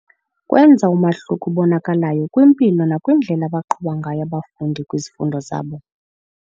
Kwenza umahluko obonakalayo kwimpilo nakwindlela abaqhuba ngayo abafundi kwizifundo zabo.